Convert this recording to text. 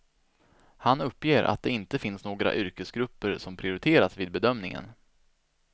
Han uppger att det inte finns några yrkesgrupper som prioriteras vid bedömningen.